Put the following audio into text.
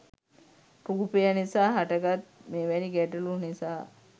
රූපය නිසා හට ගත් මෙවැනි ගැටලු නිසා